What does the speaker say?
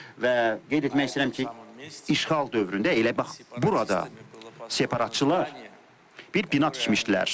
Və qeyd etmək istəyirəm ki, işğal dövründə elə bax burada separatçılar bir bina tikmişdilər.